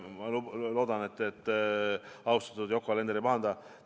Ma loodan, et austatud Yoko Alender ei pahanda.